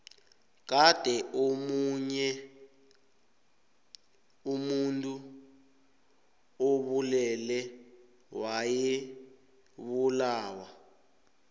kade omuntu obulele wayebulawa